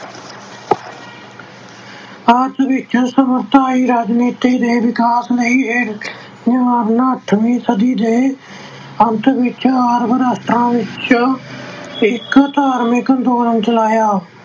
ਆਪਸ ਵਿੱਚ ਰਾਜਨੀਤੀ ਦੇ ਵਿਕਾਸ ਅੱਠਵੀਂ ਸਦੀ ਦੇ ਅੰਤ ਵਿੱਚ Arab ਰਾਸ਼ਟਰਾਂ ਚ ਇੱਕ ਧਾਰਮਿਕ ਅੰਦੋਲਨ ਚਲਾਇਆ।